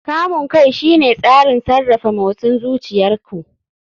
Kamun kai shine tsarin sarrafa motsin zuciyar ku.